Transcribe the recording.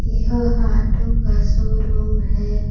यह ऑटो का शोरूम है।